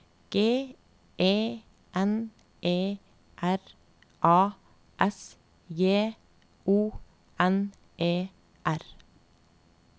G E N E R A S J O N E R